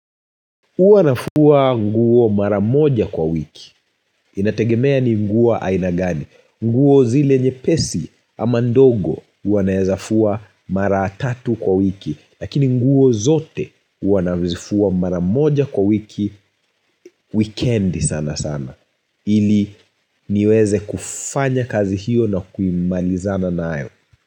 Huwa nafua nguo mara moja kwa wiki. Inategemea ni nguo aina gani. Nguo zile nyepesi ama ndogo huwa naeza fua mara tatu kwa wiki. Lakini nguo zote huwa naweza fua mara moja kwa wiki. Wikendi sana sana. Ili niweze kufanya kazi hiyo na kuimalizana nayo.